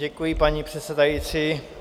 Děkuji, paní předsedající.